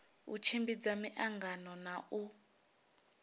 u tshimbidza miangano na u